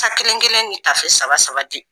Ta kelen kelen ni tafe saba saba di.